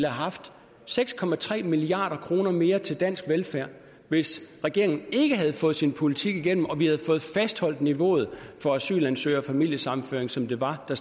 haft seks milliard kroner mere til dansk velfærd hvis regeringen ikke havde fået sin politik igennem og vi havde fået fastholdt niveauet for asylansøgere og familiesammenføring som det var da